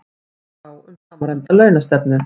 Tekist á um samræmda launastefnu